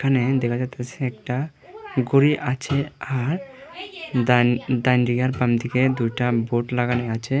এখানে দেখা যাইতেছে একটা ঘড়ি আছে আর ডাইন ডাইনদিকে আর বাইমদিকে দুটা বোর্ড লাগানো আছে।